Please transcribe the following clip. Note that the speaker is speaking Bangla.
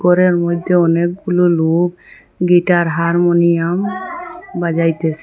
ঘরের মইধ্যে অনেকগুলো লোক গিটার হারমোনিয়াম বাজাইতেসে।